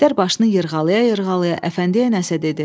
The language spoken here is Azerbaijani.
Əjdər başını yırğalaya-yırğalaya Əfəndiyə nəsə dedi.